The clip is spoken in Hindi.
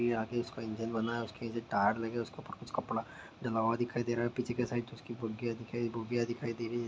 इसके आगे उसका इंजन बना उसके नीचे टायर लगे है उसके ऊपर कुछ कपड़ा डला हुआ दिखाई दे रहा है पीछे की साइड उसकी बगिया दिखाई बगिया दिखाई दे रही है।